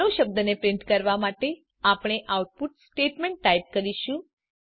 hello શબ્દ ને print કરવા માટે આપણે આઉટપુટ સ્ટેટમેંટ ટાઈપ કરીશું